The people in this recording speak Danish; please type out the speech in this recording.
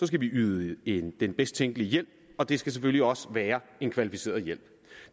skal vi yde yde den bedst tænkelige hjælp og det skal selvfølgelig også være en kvalificeret hjælp